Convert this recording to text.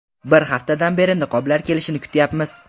Bir haftadan beri niqoblar kelishini kutyapmiz”.